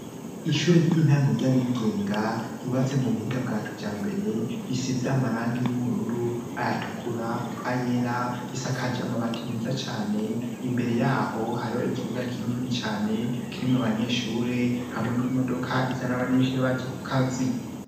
Ishuri ry'intango ry'abigenga ryubatse mu buhinga bwa kijambere, risize amarangi y'ubururu, ayatukura, ayera, risakaje amabati meza cane, imbere yaho hariho ikibuga kinini cane, kirimwo abanyeshure, hamwe n'imodoka izana abanyeshuri baje ku kazi.